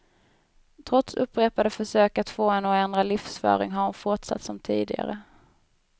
Trots upprepade försök att få henne att ändra livsföring har hon fortsatt som tidigare.